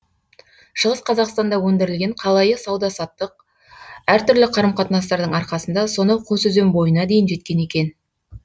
шығыс қазақстанда өндірілген қалайы сауда саттық әртүрлі қарым қатынастардың арқасында сонау қосөзен бойына дейін жеткен екен